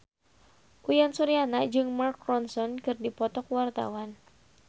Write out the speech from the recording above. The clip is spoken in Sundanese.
Uyan Suryana jeung Mark Ronson keur dipoto ku wartawan